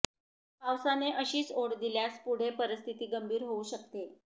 पावसाने अशीच ओढ दिल्यास पुढे परिस्थिती गंभीर होऊ शकते